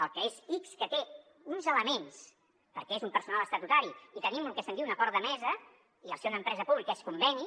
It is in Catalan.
el que és ics té uns elements perquè és un personal estatutari i tenim lo que se’n diu un acord de mesa i al ser una empresa pública és conveni